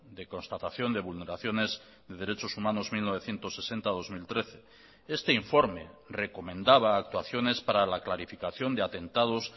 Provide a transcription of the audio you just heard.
de constatación de vulneraciones de derechos humanos mil novecientos sesenta dos mil trece este informe recomendaba actuaciones para la clarificación de atentados